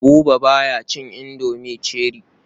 Buba ba ya cin indomi cherie.